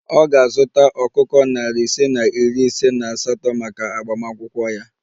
Ọ ga-azụta ọkụkọ narị ise na iri ise na asatọ maka agbamakwụkwọ ya